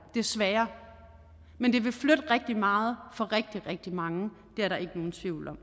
desværre men det vil flytte rigtig meget for rigtig rigtig mange det er der ikke nogen tvivl om